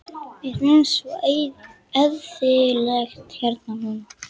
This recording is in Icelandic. Mér finnst svo eyðilegt hérna núna.